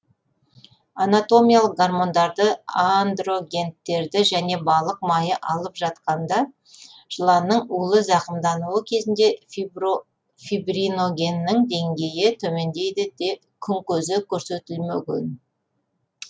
анатомиялық гормондарды андрогенттерді және балық майы алып жатқанда жыланның улы зақымдануы кезінде фибриногеннің деңгейі төмендейді күн көзі көрсетілмеген